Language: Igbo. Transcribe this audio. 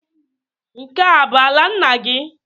Nke a bụ ala nna gị?